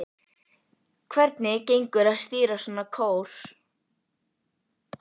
Hvernig gengur að stýra svona kór?